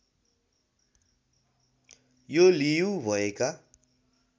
यो लियु भएका